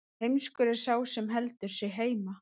heimskur er sá sem heldur sig heima